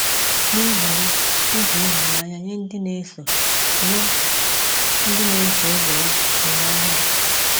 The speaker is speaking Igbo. N’ihi ya, o ji ịhụnanya nye ndị na-eso nye ndị na-eso ụzọ ya ihe ọhụrụ.